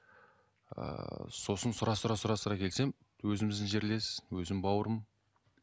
ыыы сосын сұрастыра сұрастыра келсем өзіміздің жерлес өзім бауырым